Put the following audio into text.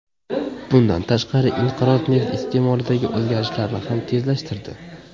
Bundan tashqari, inqiroz neft iste’molidagi o‘zgarishlarni ham tezlashtirdi.